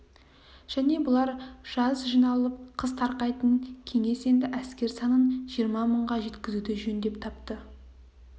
және бұлар жаз жиналып қыс тарқайтын кеңес енді әскер санын жиырма мыңға жеткізуді жөн деп тапты